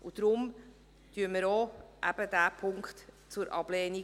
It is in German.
Deshalb empfehlen wir auch diesen Punkt zur Ablehnung.